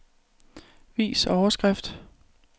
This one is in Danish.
Vis overskrift.